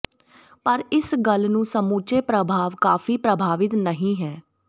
ਪਰ ਇਸ ਗੱਲ ਨੂੰ ਸਮੁੱਚੇ ਪ੍ਰਭਾਵ ਕਾਫ਼ੀ ਪ੍ਰਭਾਵਿਤ ਨਹੀ ਹੈ